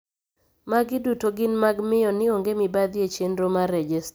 magi duto gin mag miyo ni onge mibadhi e chendro mar rejesta